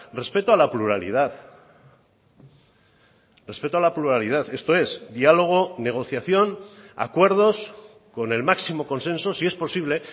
respeto a la pluralidad respeto a la pluralidad esto es diálogo negociación acuerdos con el máximo consenso si es posible